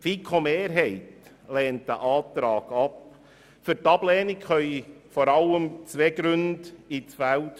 Die FiKo-Mehrheit lehnt diesen Antrag vor allem aus zwei Gründen ab.